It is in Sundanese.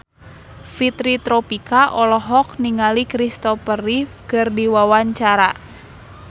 Fitri Tropika olohok ningali Kristopher Reeve keur diwawancara